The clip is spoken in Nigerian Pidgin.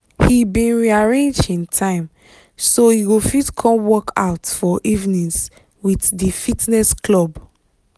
he bin re arrange him time so he go fit come workout for evenings with di fitness club